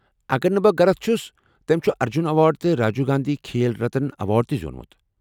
اگر نہٕ بہٕ غلط چُھس، تیٚلہِ چُھ ارجُن ایوارڈ، تہٕ راجیٖو گانٛدھی کھیل رتن تہٕ زیوٗنمُت۔